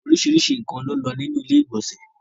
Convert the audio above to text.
Òrisísírísì nkan ló n lọ ní ilẹ̀-ìgbọ̀nsẹ̀.